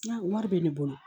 Wari bɛ ne bolo